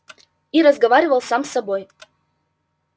и разговаривал сам с собой